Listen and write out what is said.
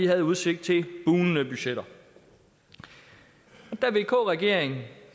havde udsigt til bugnende budgetter da vk regeringen